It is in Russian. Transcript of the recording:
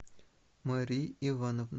марии ивановны